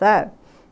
Sabe?